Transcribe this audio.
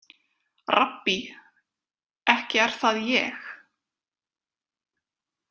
„Rabbí, ekki er það ég?“